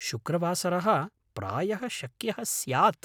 शुक्रवासरः प्रायः शक्यः स्यात्।